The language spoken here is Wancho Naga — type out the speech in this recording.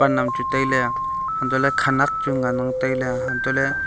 nang chu tailey hantoley khenek chu ngan ang tailey hantoh ley--